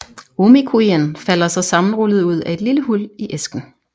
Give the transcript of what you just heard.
Omikujien falder så sammenrullet ud af et lille hul i æsken